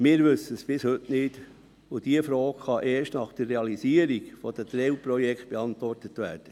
– Wir wissen es bis heute nicht, und diese Frage kann erst nach der Realisierung der Teilprojekte beantwortet werden.